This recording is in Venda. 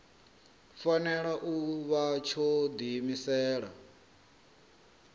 fanela u vha tsho diimisela